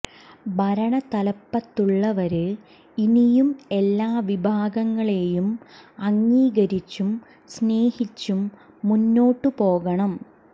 ഭരണ തലപ്പത്തുള്ളവര് ഇനിയും എല്ലാ വിഭാഗങ്ങളെയും അംഗീകരിച്ചും സ്നേഹിച്ചും മുന്നോട്ടു പോകണം